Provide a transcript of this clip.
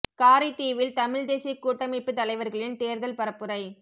காரைதீவில் தமிழ் தேசிய கூட்டமைப்பு தலைவர்களின் தேர்தல் பரப்புரை